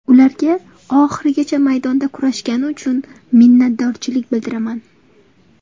Ularga oxirigacha maydonda kurashgani uchun minnatdorchilik bildiraman.